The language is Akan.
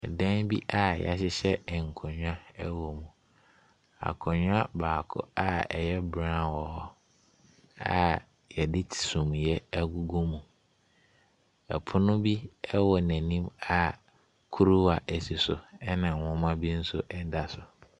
Ɛdan bi a wɔhyehyɛ nkonnwa wɔ mu, Akonnwa baako a ɛyɛ brown wɔ hɔ, a wɔde sumiiɛ agugu mu. Ɛpono bi wɔ n'anim a kuruwa si so, ɛna nwoma bi nso da so.